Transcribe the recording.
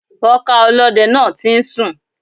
Wọn ká ọlọ́dẹ náà tí ń sùn.